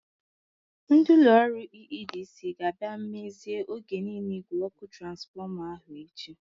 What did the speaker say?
Ndị ụlọ ọrụ EEDC ga-abia mmezie oge niile n'igwe ọkụ transfọma ahụ echi.